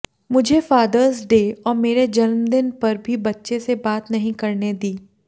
मुझे Father's Day और मेरे जन्मदिन पर भी बच्चे से बात नहीं करने दी